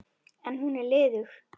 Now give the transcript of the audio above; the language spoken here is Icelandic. En hún er liðug.